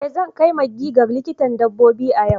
Eh zan kai maggie ga likitan dabbobi a yau.